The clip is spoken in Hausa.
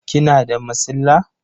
Kina da masilla?